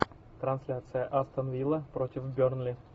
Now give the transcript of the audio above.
трансляция астон вилла против бернли